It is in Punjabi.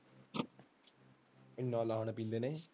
ਨੇ ਲਾਲ ਪੀਲੇ ਨੇ,